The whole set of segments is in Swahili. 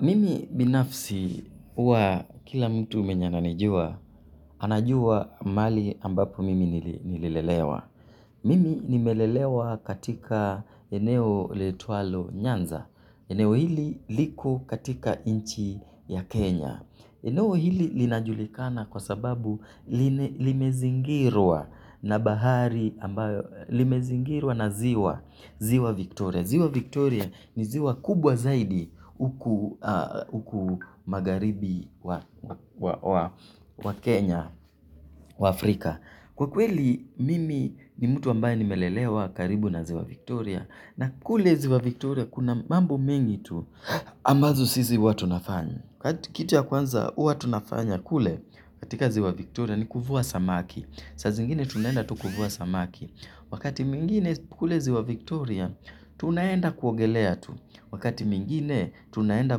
Mimi binafsi huwa kila mtu mwenye ananijua, anajua mahali ambapo mimi nilelelewa. Mimi nimelelewa katika eneo liitwalo nyanza. Eneo hili liko katika nchi ya Kenya. Eneo hili linajulikana kwa sababu limezingirwa na ziwa Victoria. Ziwa Victoria ni ziwa kubwa zaidi huku magharibi mwa Kenya, wa Afrika. Kwa kweli, mimi ni mtu ambaye nimelelewa karibu na ziwa Victoria na kule ziwa Victoria kuna mambo mengi tu ambazo sisi huwa tunafanya. Kitu ya kwanza huwa tunafanya kule katika ziwa Victoria ni kuvua samaki. Saa zingine tunaenda tu kuvua samaki, wakati mwingine kule ziwa Victoria, tunaenda kuogelea tu. Wakati mwngine, tunaenda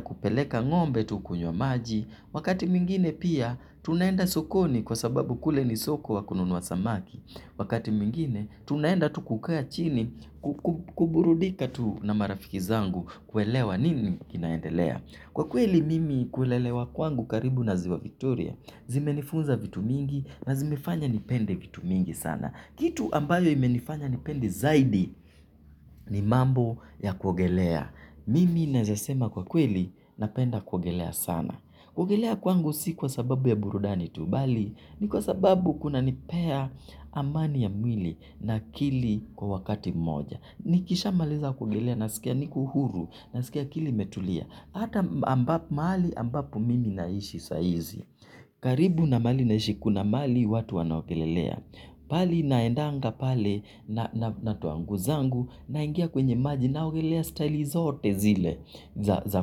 kupeleka ngombe tu kunywa maji. Wakati mwingine pia, tunaenda sokoni kwa sababu kule ni soko ya kununua samaki. Wakati mwinginetunaenda tu kukaa chini kuburudika tu na marafiki zangu kuelewa nini kinaendelea. Kwa kweli mimi kulelewa kwangu karibu na ziwa victoria, zimenifunza vitu mingi na zimefanya nipende vitu mingi sana. Kitu ambayo imenifanya nipende zaidi ni mambo ya kuogelea. Mimi naweza sema kwa kweli napenda kuogelea sana. Kuogelea kwangu si kwa sababu ya burudani tu. Bali, ni kwa sababu kunanipea amani ya mwili na akili kwa wakati mmoja. Nikishamaliza kuogelea nasikia niko huru nasikia akili imetulia. Hata mahali ambapo mimi naishi saa hizi karibu na mahali naishi kuna mahali watu wanaogelelea. Pahali naendanga pale natoa nguo zangu naingia kwenye maji naogelea staili zote zile za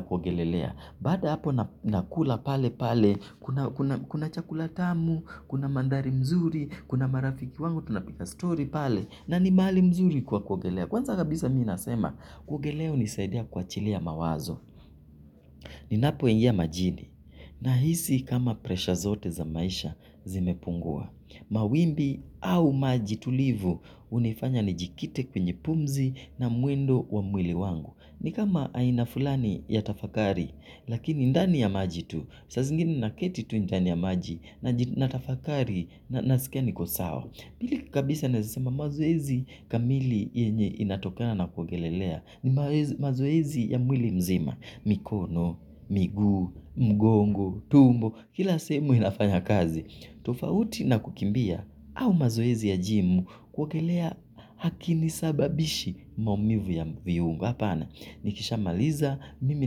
kuogelelea. Baada ya hapo nakula pale pale kuna chakula tamu, kuna mandhari nzuri, kuna marafiki wangu tunapiga story pale. Na ni mahali mzuri kwa kuogelea. Kwanza kabisa mimi nasema kuogelea hunisaidia kuachilia mawazo. Ninapo ingia majini. Nahisi kama presha zote za maisha zimepungua. Mawimbi au majitulivu hunifanya nijikite kwenye pumzi na mwendo wa mwili wangu. Ni kama aina fulani ya tafakari. Lakini ndani ya maji tu. Saa zingine naketi tu ndani ya maji t natafakari na nasikia niko sawa. Pili kabisa naweza sema mazoezi kamili yenye inatokana na kuogelelea ni mazoezi ya mwili mzima. Mikono, miguu, mgongo, tumbo, kila semu inafanya kazi. Tofauti na kukimbia au mazoezi ya gym kuogelea hakunisababishi maumivu ya viungo. Hapana, nikisha maliza, mimi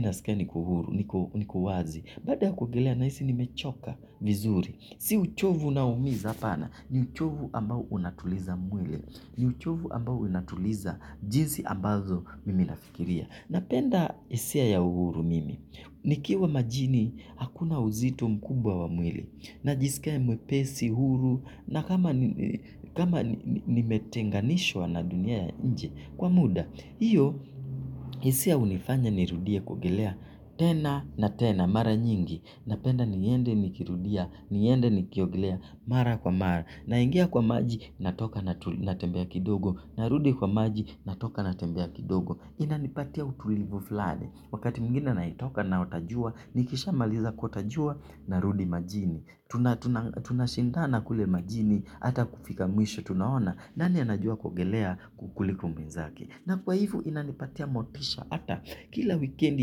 nasikia niko wazi. Baada kuogelea nahisi nimechoka vizuri. Si uchovu unaoumiza hapana, ni uchovu ambao unatuliza mwili, ni uchovu ambao unatuliza jinsi ambazo mimi nafikiria. Napenda hisia ya uhuru mimi, nikiwa majini hakuna uzito mkubwa wa mwili, na jisikia mwepesi, huru, na kama nimetenganishwa na dunia ya nje kwa muda. Hio hisia hunifanya nirudie kuogelea, tena na tena. Mara nyingi, napenda niende nikirudia, niende nikiogelea, mara kwa mara, naingia kwa maji, natoka natembea kidogo, narudi kwa maji, natoka natembea kidogo, inanipatia utulivu fulani, wakati mwingine natoka naota jua, nikisha maliza kuota jua, narudi majini, tunashindana kule majini, ata kufika mwisho, tunaona, nani anajua kuogelea kuliko mwenzake. Na kwa hivo inanipatia motisha ata. Kila wikendi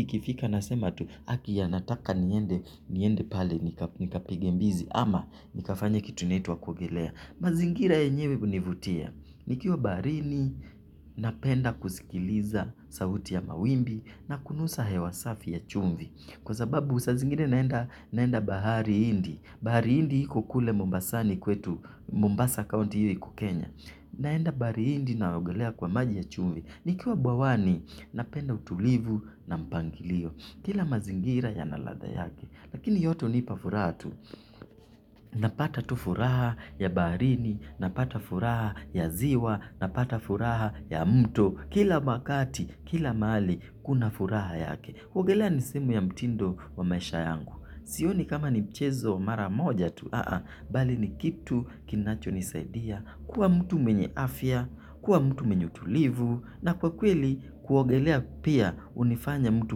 ikifika nasema tu haki nataka niende pale nikapige mbizi ama nikafanye kitu inaitwa kuogelea. Mazingira yenyewe hunivutia. Nikiwa baharini napenda kusikiliza sauti ya mawimbi na kunusa hewa safi ya chumvi. Kwa sababu saa zingine naenda bahari india. Bahari india kule Mombasani kwetu. Mombasa kaunti hio iko kenya. Naenda bahari india naogelea kwa maji ya chumvi. Nikiwa bwawani, napenda utulivu na mpangilio. Kila mazingira yana ladha yake. Lakini yote hunipa furaha tu. Napata tu furaha ya baharini, napata furaha ya ziwa, napata furaha ya mto. Kila wakati, kila mahali, kuna furaha yake. Kuogelea ni sehemu ya mtindo wa maisha yangu. Sioni kama ni mchezo wa mara moja tu, bali ni kitu kinacho nisaidia, kuwa mtu mwenye afya, kuwa mtu menye utulivu, na kwa kweli kuogelea pia hunifanya mtu.